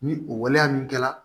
Ni o waleya min kɛra